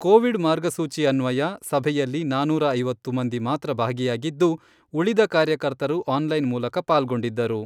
Covid ಮಾರ್ಗಸೂಚಿ ಅನ್ವಯ ಸಭೆಯಲ್ಲಿ ನಾನೂರ ಐವತ್ತು ಮಂದಿ ಮಾತ್ರ ಭಾಗಿಯಾಗಿದ್ದು, ಉಳಿದ ಕಾರ್ಯಕರ್ತರು ಆನ್ಲೈನ್ ಮೂಲಕ ಪಾಲ್ಗೊಂಡಿದ್ದರು.